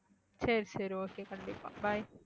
சரி சரி okay கண்டிப்பா bye